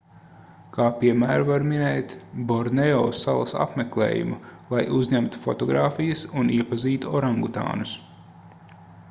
kā piemēru var minēt borneo salas apmeklējumu lai uzņemtu fotogrāfijas un iepazītu orangutānus